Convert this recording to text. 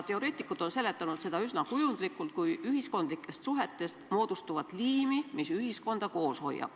Teoreetikud on seletanud seda üsna kujundlikult kui ühiskondlikest suhetest moodustuvat liimi, mis ühiskonda koos hoiab.